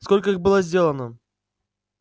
сколько их было сделано